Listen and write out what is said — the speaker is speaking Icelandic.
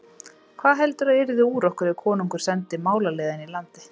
Hvað heldurðu að yrði úr okkur ef konungur sendi málaliða í landið?